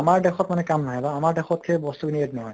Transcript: আমাৰ দেশত মানে কাম নাহে বা আমাৰ দেশত মানে সেই বস্তু খিনি add নহয়